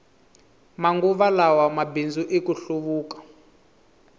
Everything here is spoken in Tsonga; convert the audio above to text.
manguva lawa mabindzu i ku hluvuka